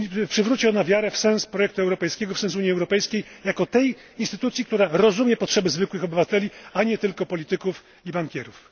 przywróci ona wiarę w sens projektu europejskiego, w sens Unii Europejskiej jako tej instytucji, która rozumie potrzeby zwykłych obywateli, a nie tylko polityków i bankierów.